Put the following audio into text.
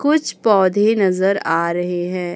कुछ पौधे नजर आ रहे है।